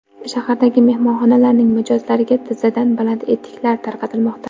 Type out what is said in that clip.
Shahardagi mehmonxonalarning mijozlariga tizzadan baland etiklar tarqatilmoqda.